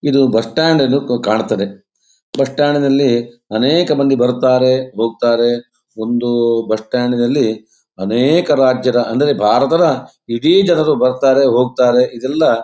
ಇದು ಬಸ್ಟ್ಯಾಂಡ್ ಕಾಣ್ತದೆ ಬಸ್ಟ್ಯಾಂಡಿ ನಲ್ಲಿ ಅನೇಕ ಮಂದಿ ಬರ್ತಾರೆ ಹೋಕ್ತಾರೆ. ಒಂದು ಬಸ್ಟ್ಯಾಂಡಿ ನಲ್ಲಿ ಅನೇಕ ರಾಜ್ಯದ ಅಂದರೆ ಭಾರತದ ಇಡೀ ಜನರು ಬರ್ತಾರೆ ಹೋಕ್ತಾರೆ. ಇದೆಲ್ಲ--